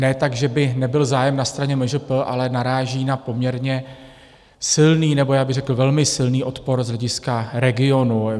Ne tak, že by nebyl zájem na straně MŽP, ale naráží na poměrně silný, nebo já bych řekl velmi silný odpor z hlediska regionu.